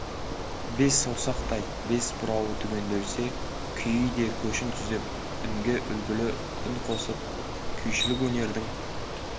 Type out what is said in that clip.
бес саусақтай бес бұрауы түгенделсе күйі де көшін түзеп үнге үлгілі үн қосылып күйшілік өнердің